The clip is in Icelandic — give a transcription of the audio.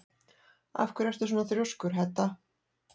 Af hverju ertu svona þrjóskur, Hedda?